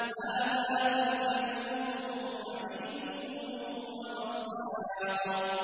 هَٰذَا فَلْيَذُوقُوهُ حَمِيمٌ وَغَسَّاقٌ